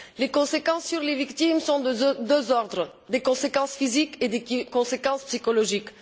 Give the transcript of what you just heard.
Les conséquences sur les victimes sont de deux ordres des conséquences physiques et des conséquences psychologiques.